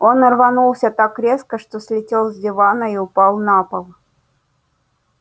он рванулся так резко что слетел с дивана и упал на пол